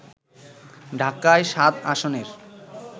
ঢাকা-৭ আসনের